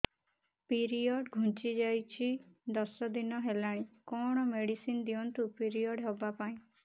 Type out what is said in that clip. period ଘୁଞ୍ଚି ଯାଇଛି ଦଶ ଦିନ ହେଲାଣି କଅଣ ମେଡିସିନ ଦିଅନ୍ତୁ ପିରିଅଡ଼ ହଵା ପାଈଁ